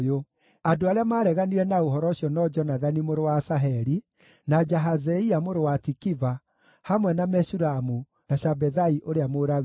Andũ arĩa maareganire na ũhoro ũcio no Jonathani mũrũ wa Asaheli, na Jahazeia mũrũ wa Tikiva, hamwe na Meshulamu, na Shabethai ũrĩa Mũlawii.